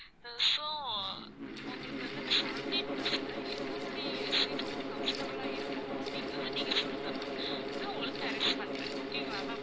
so உங்களுக்கு வந்து seventeen bus ல எந்த மாதிரி seat உங்களுக்கு comfortable ஆ இருக்கும் அப்படிங்கறது நீங்க சொல்லுங்க ma'am நான் உங்களுக்கு arrange பண்றேன் okay ங்களா ma'am